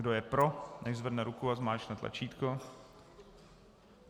Kdo je pro, nechť zvedne ruku a zmáčkne tlačítko.